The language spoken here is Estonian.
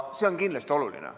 See on kindlasti oluline.